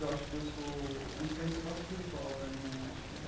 Eu acho que eu sou é uma experiência quase espiritual para mim eu acho que é.